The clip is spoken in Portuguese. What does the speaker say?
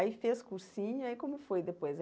Aí fez cursinho e aí como foi depois?